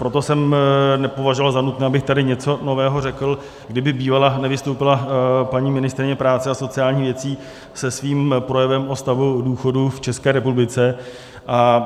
Proto jsem nepovažoval za nutné, abych tady něco nového řekl, kdyby bývala nevystoupila paní ministryně práce a sociálních věcí se svým projevem o stavu důchodů v České republice.